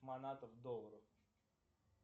манаты в долларах